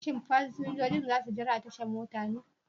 Shin fasinjojin za su jira a tashar mota ne?